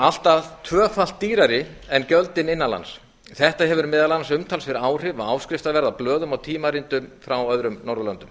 allt að tvöfalt dýrari en gjöldin innan lands þetta hefur meðal annars umtalsverð áhrif á áskriftarverð á blöðum og tímaritum frá öðrum norðurlöndum